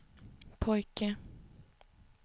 pojke